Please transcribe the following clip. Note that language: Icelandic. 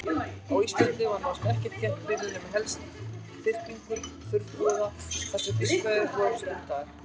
Á Íslandi var nánast ekkert þéttbýli nema helst þyrpingar þurrabúða þar sem fiskveiðar voru stundaðar.